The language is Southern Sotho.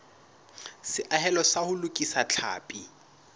seahelo sa ho lokisa tlhapi